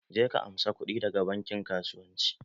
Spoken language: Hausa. Je ka amsa kudi da ga bankin kasuwanci.